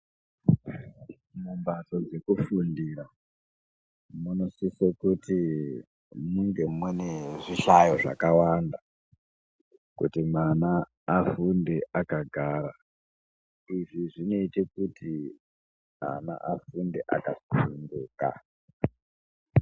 Mumbatso dzekufundira munosise kuti munge mune zvihlayo zvakawanda kuti mwana afunde akagara, izvi zvinoite kuti ana afunde akasununguka.